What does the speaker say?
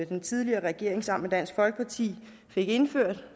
den tidligere regering sammen med dansk folkeparti fik indført